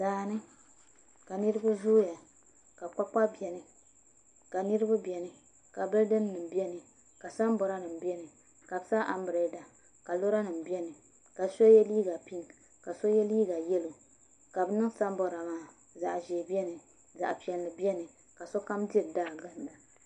Daani ka niraba zooya ka kpakpa biɛni ka niraba biɛni ka bildin nim biɛni ka sanbood nim biɛni ka bi sa anbirɛla ka lora nim biɛni ka so yɛ liiga pink ka so yɛ liiga yɛlo ka bi niŋ sanbood maa zaɣ ʒiɛ biɛni zaɣ piɛlli biɛni ka sokam diri daa ginda